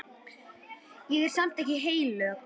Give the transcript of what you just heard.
Ég er samt ekkert heilög.